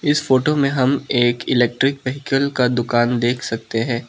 इस फोटो में हम एक इलेक्ट्रिक व्हीकल का दुकान देख सकते है।